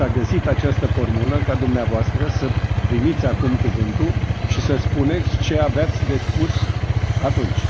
Dar s a găsit această formulă, ca dumneavoastră să primiți acum cuvântul și să spuneți ce aveați de spus atunci.